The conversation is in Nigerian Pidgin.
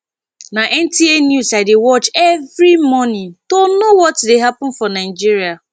na nta news i dey watch every morning to know what dey happen for nigeria